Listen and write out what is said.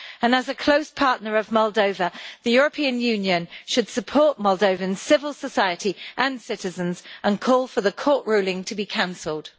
As a close partner of Moldova, the European Union should support Moldovan civil society and citizens, and call for the court ruling to be cancelled.